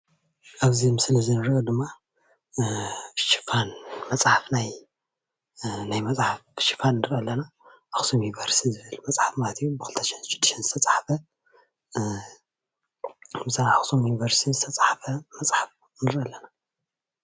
ኣብዚ ምስሊ እንሪኦ ድማ ሽፋን መፅሓፍ ናይ መፅሓፍ ሽፋን ንርኢ ኣለና፣ ኣክሱም ዩኒቨርስቲ ዝብል መፅሓፍ ማለት እዩ ብ2006 ዝተፅሓፈ ብኣክሱም ዩኒቨርስቲ ዝተፅሓፈ መፅሓፍ ንርኢ ኣለና፡፡